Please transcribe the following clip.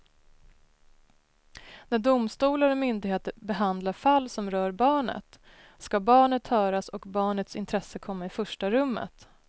När domstolar och myndigheter behandlar fall som rör barnet ska barnet höras och barnets intresse komma i första rummet.